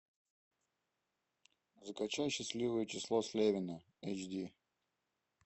закачай счастливое число слевина эйч ди